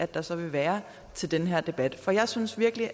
der så vil være til den her debat for jeg synes virkelig